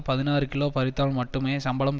பதினாறு கிலோ பறித்தால் மட்டுமே சம்பளம்